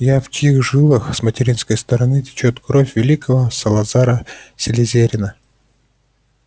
я в чьих жилах с материнской стороны течёт кровь великого салазара слизерина